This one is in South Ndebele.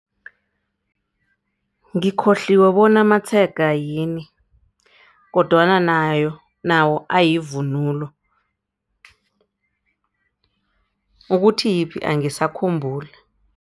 Ngikhohliwe bona amatshega yini kodwana nayo, nawo ayivunulo ukuthi yiphi angisakhumbuli.